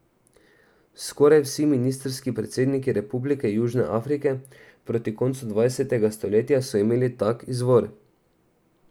Skoraj vsi ministrski predsedniki Republike Južne Afrike proti koncu dvajsetega stoletja so imeli tak izvor.